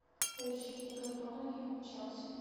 поищи игру тоттенхэм и челси